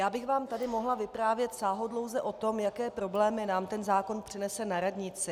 Já bych vám tady mohla vyprávět sáhodlouze o tom, jaké problémy nám ten zákon přinese na radnici.